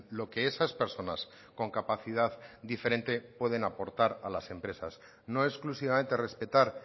lo que esas personas con capacidad diferente pueden aportar a las empresas no exclusivamente respetar